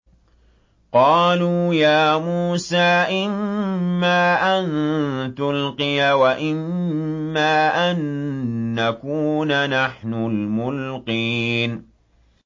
قَالُوا يَا مُوسَىٰ إِمَّا أَن تُلْقِيَ وَإِمَّا أَن نَّكُونَ نَحْنُ الْمُلْقِينَ